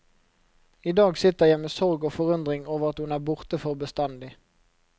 I dag sitter jeg med sorg og forundring over at hun er borte for bestandig.